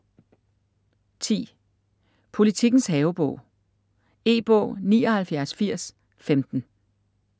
Politikens havebog E-bog 798015